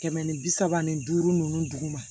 Kɛmɛ ni bi saba ni duuru ninnu duguma